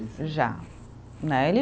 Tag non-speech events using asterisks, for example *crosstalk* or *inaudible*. *unintelligible* Já, né ele